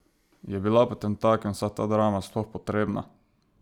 Je bila potemtakem vsa ta drama sploh potrebna?